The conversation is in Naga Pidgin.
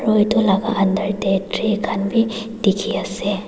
aru etu laga under tae tree khan vi dekhi pai asa.